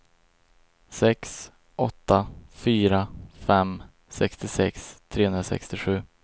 sex åtta fyra fem sextiosex trehundrasextiosju